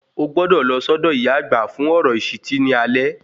Ogbọ́dọ̀ lọ sọ́dọ̀ ìyá àgbà fún ọ̀rọ̀ ìṣìtí ní alẹ́